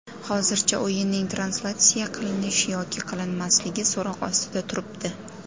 Hozircha o‘yinning translyatsiya qilinish yoki qilinmasligi so‘roq ostida turibdi.